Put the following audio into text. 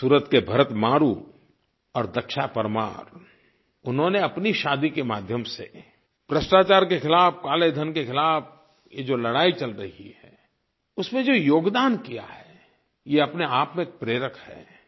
सूरत के भरत मारू और दक्षा परमार उन्होंने अपनी शादी के माध्यम से भ्रष्टाचार के खिलाफ़ काले धन के खिलाफ़ ये जो लड़ाई चल रही है उसमें जो योगदान किया है ये अपने आप में प्रेरक है